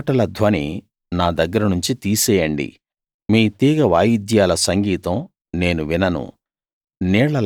మీ పాటల ధ్వని నా దగ్గర నుంచి తీసేయండి మీ తీగ వాయిద్యాల సంగీతం నేను వినను